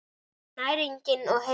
Næring og heilsa.